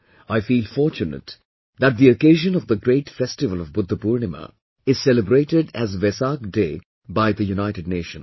I feel fortunate that the occasion of the great festival of Budha Purnima is celebrated as Vesak day by the United Nations